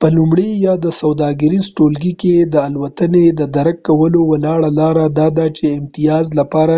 په لومړي یا سوداګریز ټولګي کې د الوتنې د درک کولو وړ لاره دا ده چې د امتیاز لپاره